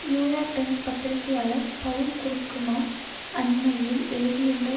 New York Times பத்திரிகையாளர் Paul Krugman அண்மையில் எழுதியுள்ள